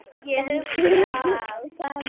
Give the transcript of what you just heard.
Ég hugsa að